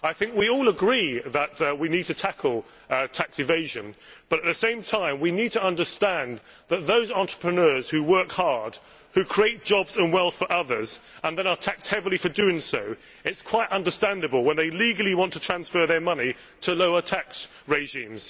I think we all agree that we need to tackle tax evasion, but at the same time we need to understand that, in the case of those entrepreneurs who work hard, who create jobs and wealth for others and then are taxed heavily for doing so, it is quite understandable when they legally want to transfer their money to lower tax regimes.